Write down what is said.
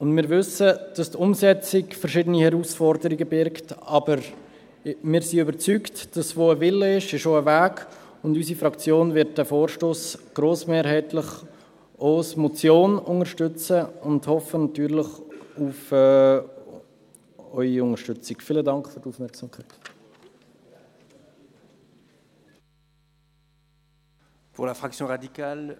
Wir wissen, dass die Umsetzung verschiedene Herausforderungen in sich birgt, aber wir sind überzeugt, dass wo ein Wille auch ein Weg ist, und unsere Fraktion wird diesen Vorstoss grossmehrheitlich auch als Motion unterstützen und hofft natürlich auf Ihre Unterstützung.